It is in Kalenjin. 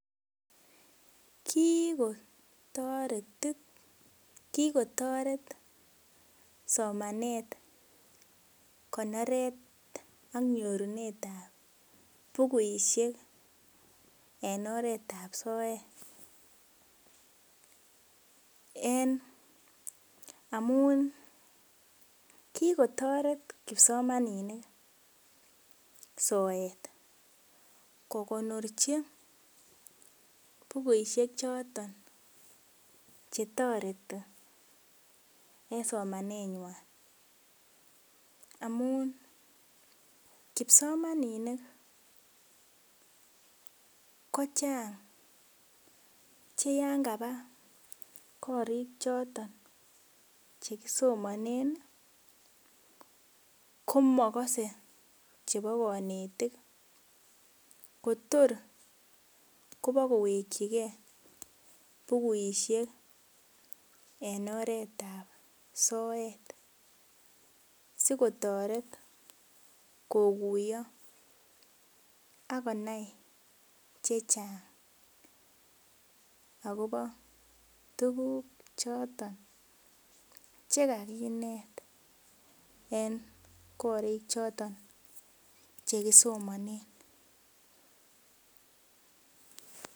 Kikotoret somanet konoretab bukusiek en oret ab soet en amun kikotoret kipsomaninik soet kokonorchi bukusiek choton chetoreti en somanet nywan amun kipsomaninik ko chang che yan kaba korik choton chekisomesonen komokose chebo konetik kotor kobakowekyigee bukuisiek en oret ab soet sikotoret kokuiyo ak konai chechang akobo tuguk choton chekikinet en korik choton chekisomonen